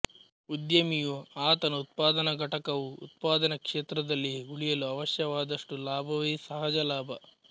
ಉದ್ಯಮಿಯೂ ಆತನ ಉತ್ಪಾದನ ಘಟಕವೂ ಉತ್ಪಾದನ ಕ್ಷೇತ್ರದಲ್ಲಿ ಉಳಿಯಲು ಅವಶ್ಯವಾದಷ್ಟು ಲಾಭವೇ ಸಹಜಲಾಭ